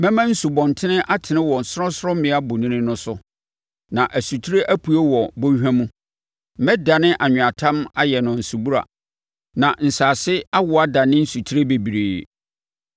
Mɛma nsubɔntene atene wɔ sorɔnsorɔmmea bonini no so, na nsutire apue wɔ bɔnhwa mu. Mɛdane anweatam ayɛ no nsubura, na nsase a awo adane nsutire bebree.